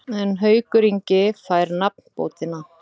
En Haukur Ingi fær nafnbótina.